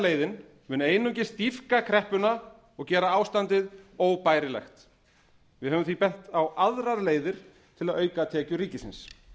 skattlagningarleiðin mun einungis dýpka kreppuna og gera ástandið óbærilegt við höfum því bent á aðrar leiðir til að auka tekjur ríkisins